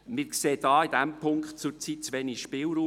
– Wir sehen in diesem Punkt zurzeit zu wenig Spielraum.